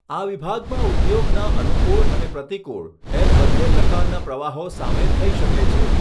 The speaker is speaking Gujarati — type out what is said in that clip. આ વિભાગમાં ઉદ્યોગના અનુકૂળ અને પ્રતિકૂળ એમ બંને પ્રકારના પ્રવાહો સામેલ થઈ શકે છે.